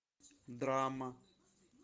драма